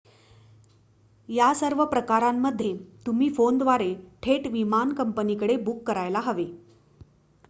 या सर्व प्रकरणांमध्ये तुम्ही फोनद्वारे थेट विमान कंपनीकडे बुक करायला हवे